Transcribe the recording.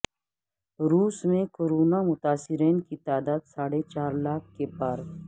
روس میں کورونا متاثرین کی تعداد ساڑھے چار لاکھ کے پار